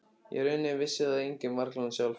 Í rauninni vissi það enginn, varla hún sjálf.